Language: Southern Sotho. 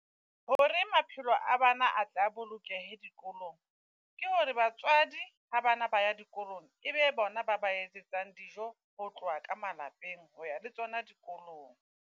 Hore maphelo a bana a tle a bolokehe dikolong. Ke hore batswadi ha bana ba ya dikolong ebe bona ba ba etsetsang dijo ho tloha ka malapeng, hoya le tsona dikolong.